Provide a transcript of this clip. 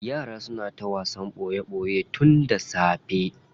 Yaran suna ta wasan boye boye tun da safe.